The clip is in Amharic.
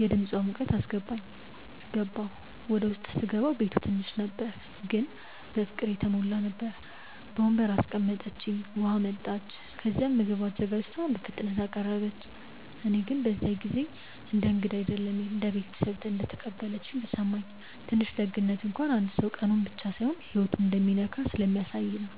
የድምፃ ሙቀት አስገባኝ። ገባሁ። ውስጥ ሲገባ ቤቱ ትንሽ ነበር ግን በፍቅር የተሞላ ነበር። በወንበር አስቀምጠችኝ፣ ውሃ አመጣች፣ ከዚያም ምግብ አዘጋጅታ በፍጥነት አቀረበች። እኔ ግን በዚያ ጊዜ እንደ እንግዳ አይደለም እንደ ቤተሰብ እንደተቀበለችኝ ተሰማኝ። ትንሽ ደግነት እንኳን አንድ ሰው ቀኑን ብቻ ሳይሆን ህይወቱን እንደሚነካ ስለሚያሳየ ነው